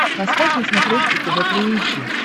поставь на смотрешке тв три эйч ди